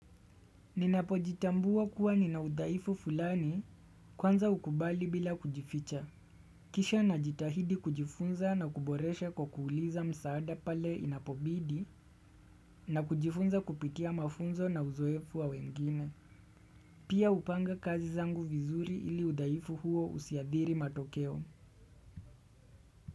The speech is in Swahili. Ninapo jitambua kuwa ninaudhaifu fulani kwanza ukubali bila kujificha. Kisha najitahidi kujifunza na kuboresha kwa kuuliza msaada pale inapobidi na kujifunza kupitia mafunzo na uzoefu wa wengine. Pia upanga kazi zangu vizuri iliudhaifu huo usiadhiri matokeo.